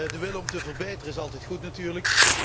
De wil om te verbeteren, is altijd goed natuurlijk.